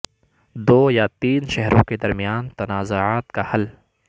دو یا تین شہروں کے درمیان تنازعات کا حل